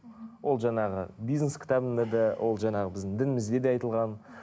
ол жаңағы бизнес кітабында да ол жаңағы біздің дінімізде де айтылған